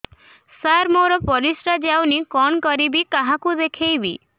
ସାର ମୋର ପରିସ୍ରା ଯାଉନି କଣ କରିବି କାହାକୁ ଦେଖେଇବି